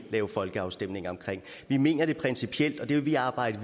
være folkeafstemning om vi mener det er principielt og det vil vi arbejde